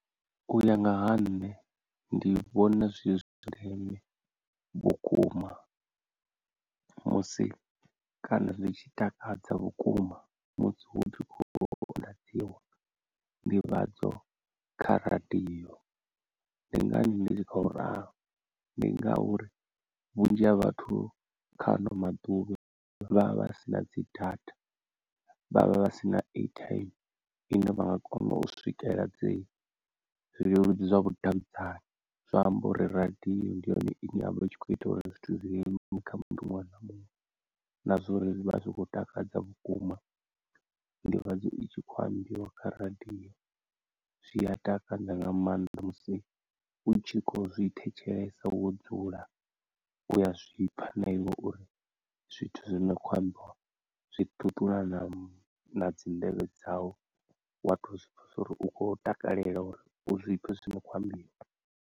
U ya nga ha nṋe ndi vhona zwi zwa ndeme vhukuma musi kana zwi tshi takadza vhukuma musi hu tshi khou ḓivhadziwa nḓivhadzo kha radio, ndi ngani ndi tshi khou ralo ndi ngauri vhunzhi ha vhathu kha ano maḓuvha vhavha vha sina dzi data vhavha vha sina airtime ine vha nga kona u swikela dzi zwileludzi zwa vhudavhidzani, zwa amba uri radio ndi yone ine yavha i tshi kho ita uri zwithu zwi leluwe kha muṅwe na muṅwe na zwa uri vha zwi khou takadza vhukuma ndivhadzo itshi kho ambiwa kha radio, zwi a takadza nga maanḓa musi u tshi kho zwi thetshelesa wo dzula, uya zwipfa na iwe uri zwithu zwine kho ambiwa zwi ṱuṱula na na dzi nḓevhe dzau wa to zwipfesa uri u khou takalela uri u zwipfe zwino khou ambiwa.